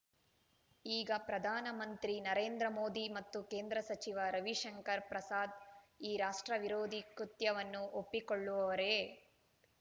ಈಗ ಪ್ರಧಾನ ಮಂತ್ರಿ ನರೇಂದ್ರ ಮೋದಿ ಮತ್ತು ಕೇಂದ್ರ ಸಚಿವ ರವಿಶಂಕರ್ ಪ್ರಸಾದ್ ಈ ರಾಷ್ಟ್ರ ವಿರೋಧಿ ಕೃತ್ಯವನ್ನು ಒಪ್ಪಿಕೊಳ್ಳುವರೆ